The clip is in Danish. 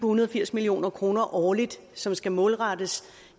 hundrede og firs million kroner årligt som skal målrettes